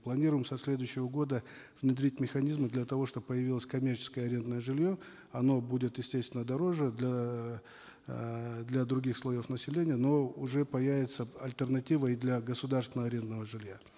планируем со следующего года внедрить механизмы для того чтобы появилось коммерческое арендное жилье оно будет естественно дороже для эээ для других слоев населения но уже появится альтернатива и для государственного арендного жилья